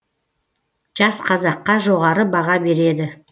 жас қазаққа жоғары баға береді